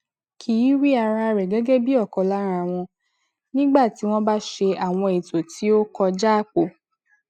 kì í rí ara rẹ gẹgẹ bí ọkan lára wọn nígbà tí wọn bá ṣe àwọn ètò tí ó kọjá àpò